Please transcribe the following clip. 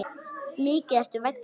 Mikið ertu vænn, segir mamma.